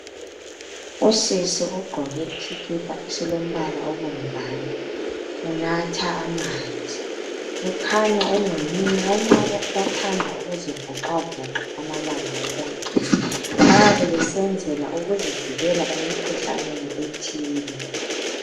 Untombazane ugqoke isikipa esibomvana unatha amanzi kukhanya engumunye walabo abathanda ukuzivoxavoxa amalanga wonke bayabe besenzela ukuzivikela emkhuhlaneni ethile